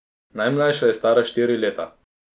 Najmlajša je stara štiri leta.